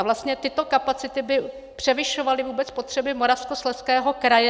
A vlastně tyto kapacity by převyšovaly vůbec potřeby Moravskoslezského kraje.